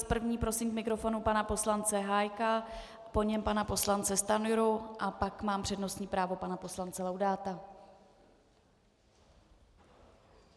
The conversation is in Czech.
S první prosím k mikrofonu pana poslance Hájka, po něm pana poslance Stanjuru a pak mám přednostní právo pana poslance Laudáta.